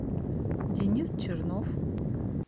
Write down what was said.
денис чернов